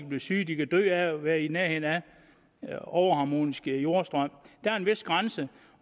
blive syge de kan dø af at være i nærheden af overharmonisk jordstrøm der er en vis grænse